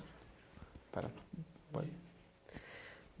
Espera. pode